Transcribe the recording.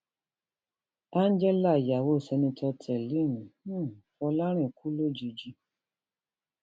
angela ìyàwó seneto tẹlim um fọlọrin kú lójijì